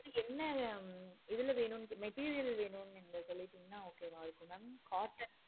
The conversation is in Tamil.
என்ன இதுல வேணும் material வேணுமுன்னு நீங்க சொல்லிட்டிங்கனா okay mam